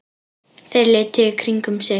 Þeir litu í kringum sig.